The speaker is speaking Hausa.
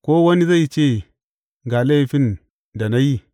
Ko wani zai ce ga laifin da na yi?